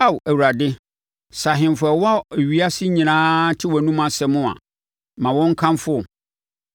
Ao Awurade, sɛ ahemfo a ɛwɔ ewiase nyinaa te wʼanomu asɛm a ma wɔn nkamfo wo.